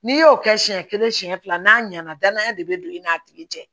N'i y'o kɛ siɲɛ kelen siɲɛ fila n'a ɲɛna danaya de be don i n'a tigi cɛ